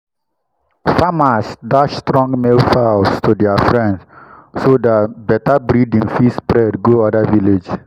farmers dash strong male fowls to dia friends so dat better breading fit spread go oda villages.